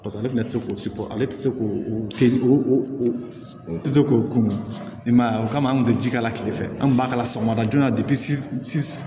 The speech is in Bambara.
Paseke ale fɛnɛ ti se k'o siko ale te se k'o se k'o kun i m'a ye o kama an kun te ji k'ala kilefɛ an kun b'a k'a la sɔgɔmada joona